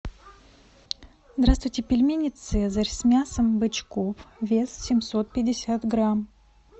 здравствуйте пельмени цезарь с мясом бычков вес семьсот пятьдесят грамм